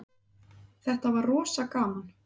Þetta var rosa gaman.